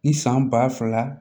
Ni san ba fila